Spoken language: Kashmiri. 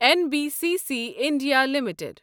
N B C C India limited